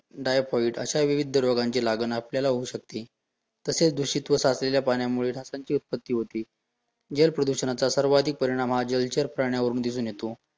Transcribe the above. typhoid अशा विविध रोगांची लागण आपल्याला होऊ शकते, तशेच दुषित व साचलेल्या पाण्यामुळे डासांची उत्पत्ती होती, जल प्रदूषणाचा सर्वाधिक परिणाम हा जलचर प्राण्यावरून दिसून येतो